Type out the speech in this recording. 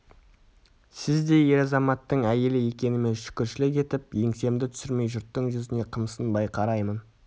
сіздей ер азаматтың әйелі екеніме шүкіршілік етіп еңсемді түсірмей жұрттың жүзіне қымсынбай қараймын